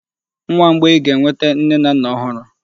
Nwa mgbei ga-enwete nne na nna ọhụrụ.